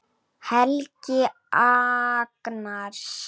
Helgi Agnars.